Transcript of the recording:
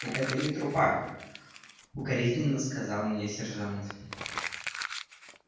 это не трупак укоризненно сказал мне сержант